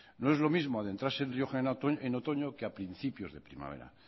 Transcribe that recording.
no es lo mismo adentrarse en rioja en otoño que a principios de primavera